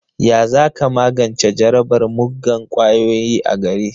Ya za ka magance jarabar muggan ƙwayoyi a gari?